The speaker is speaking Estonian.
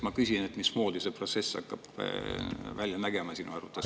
Ma küsin, mismoodi see protsess hakkab välja nägema sinu arvates.